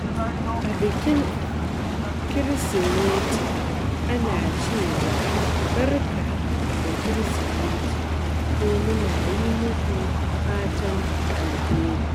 A bikin Kirsimeti, ana cewa "Barka da Kirsimeti" ko "Muna yi muku fatan alheri."